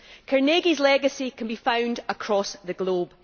Carnegie's legacy can be found across the globe.